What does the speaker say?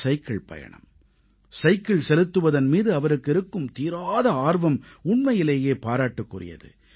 cycle பயணம் cycle செலுத்துவதன் மீது அவருக்கு இருக்கும் தீராத ஆர்வம் உண்மையிலேயே பாராட்டுக்குரியது